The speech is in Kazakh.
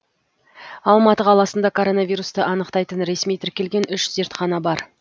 алматы қаласында коронавирусты анықтайтын ресми тіркелген үш зертхана бар